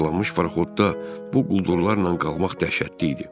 Parçalanmış paraxodda bu quldurlarla qalmaq dəhşətli idi.